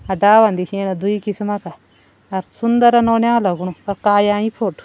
अ दालान दिखेणा दुई किस्मा का और सुंदर नौनियाल लगणू अ काली आयीं फोटो ।